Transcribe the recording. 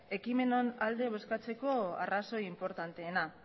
ekimen honen alde bozkatzeko arrazoi inportanteena